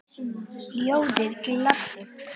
Ljóðið gladdi.